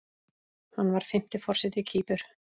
Hann var fimmti forseti Kýpur.